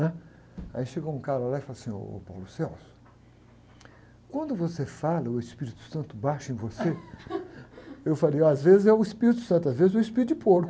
né? Aí chegou um cara lá e falou assim, ô, quando você fala o Espírito Santo baixa em você? Eu falei, às vezes é o Espírito Santo, às vezes é o espírito de porco.